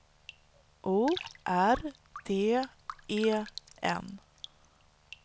O R D E N